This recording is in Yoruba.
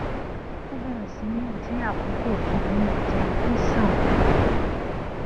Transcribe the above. ó bèrè sí í dín àkókò tó fi ń wo tẹlifíṣòn kù